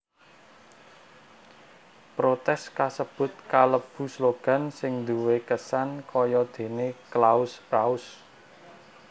Protès kasebut kalebu slogan sing duwé kesan kayadéné Claus raus